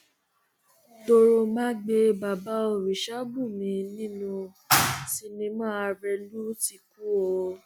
toròmágbé bàbá oríṣabùnmí nínú sinimá arẹlù ti kú o